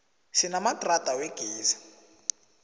sinamadrada wegezi